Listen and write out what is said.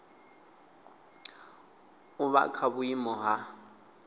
u vha kha vhuiimo ha